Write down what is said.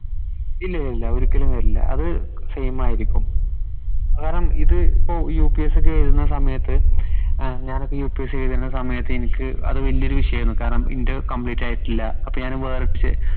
ഇല്ലി ലില്ല ഒരിക്കലും വരില്ല അത് same ആയിരിക്കും കാരണം ഇത് ഇപ്പോ UPS ഒക്കെ എഴുത്ണ സമയത് ഞാനിപ്പോ UPSC എഴുതണ സമയത്ത് എനിക്ക് അത് വലിയ ഒരു വിഷയമായിരുന്നു കാരണം ഇന്റെ complete ആയിട്ടില്ല അപ്പൊ ഞാന് വേറെ